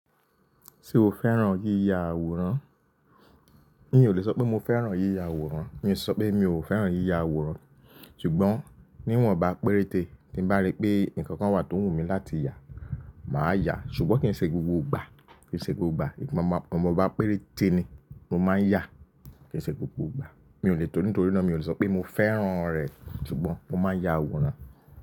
Ṣé o fẹ́ràn yíya àwòrán? N ó lè sọ pé mo fẹ́ràn yíya àwòrán, ní sọ pé mi ò fẹ́ràn yíya àwòrán. Ṣùgbọ́n níwọ̀n bá péréte tí bá rí pé nǹkan kan wà tó wù mí láti yà, màá yà, ṣùgbọ́n kì í ṣe gbogbo ìgbà, kì í ṣe gbogbo ìgbà. Ìwọnba péréte ni mo máa ń yà, kì í ṣe gbogbo ìgbà. Mi ò lè tó nítorí náà mi ò lè sọ pé mo fẹ́ràn rẹ̀ ṣùgbọ́n mo máa ń ya àwòrán.